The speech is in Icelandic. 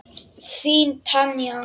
Þín Tanja.